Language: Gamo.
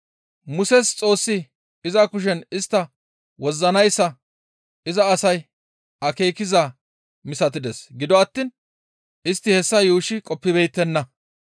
Muses Xoossi iza kushen istta wozzanayssa iza asay akeekizaa misatides; gido attiin istti hessa yuushshi qoppibeettenna.